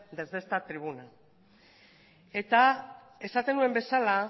desde esta tribuna eta esaten nuen bezala